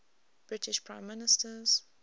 british prime ministers